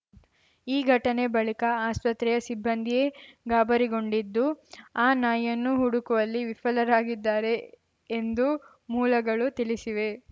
ಈ ಘಟನೆ ಬಳಿಕ ಆಸ್ಪತ್ರೆಯ ಸಿಬ್ಬಂದಿಯೇ ಗಾಬರಿಗೊಂಡಿದ್ದು ಆ ನಾಯಿಯನ್ನು ಹುಡುಕುವಲ್ಲಿ ವಿಫಲರಾಗಿದ್ದಾರೆ ಎಂದು ಮೂಲಗಳು ತಿಳಿಸಿವೆ